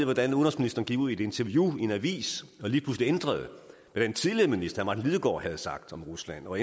hvordan udenrigsministeren gik ud i et interview i en avis og lige pludselig ændrede hvad den tidligere minister herre martin lidegaard havde sagt om rusland og